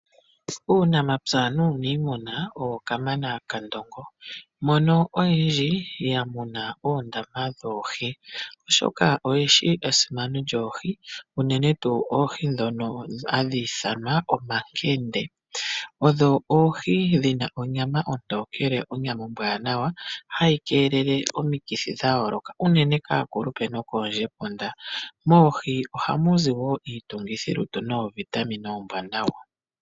Uunamapya nuunimuna owo Kamana kaNdongo mono oyedji ya muna oondama dhoohi, oshoka oyeshi esimano lyoohi unene tuu oohi ndhono hadhi ithanwa omankende. Odho oohi dhina onyama ontokele, onyama ombwanawa hayi keelele omikithi dhayooloka unene kaakulupe nokoondjepunda. Moohi ohamuzi woo iitungithilutu noovitamine oombwanawa.